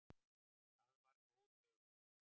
Það er góð veiði.